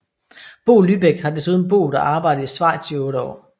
Bo Lybæk har desuden boet og arbejdet i Schweiz i otte år